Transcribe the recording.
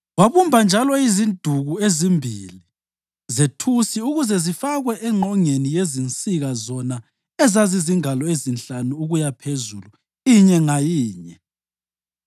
Wabumba njalo iziduku ezimbili zethusi ukuze zifakwe engqongeni yezinsika zona ezazizingalo ezinhlanu ukuyaphezulu inye ngayinye.